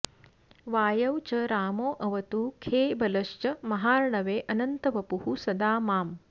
वायौ च रामोऽवतु खे बलश्च महार्णवेऽनन्तवपुः सदा माम्